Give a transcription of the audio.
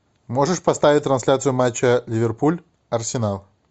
можешь поставить трансляцию матча ливерпуль арсенал